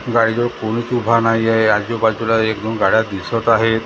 गाडीजवळ कोणीच उभा नाहीए आजूबाजूला एक दोन गाड्या दिसत आहेत.